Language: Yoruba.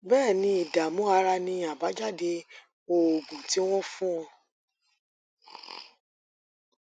béè ni ìdààmú ara ni àbájáde oògùn tí wọn fún ọ